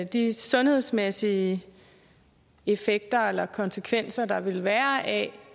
de sundhedsmæssige effekter eller konsekvenser der vil være af